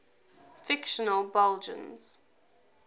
fictional belgians